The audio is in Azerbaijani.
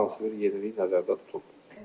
Hər hansı bir yenilik nəzərdə tutulub.